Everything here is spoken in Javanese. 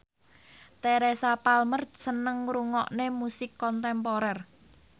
Teresa Palmer seneng ngrungokne musik kontemporer